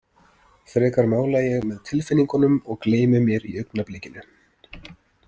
Frekar mála ég með tilfinningunum og gleymi mér í augnablikinu“.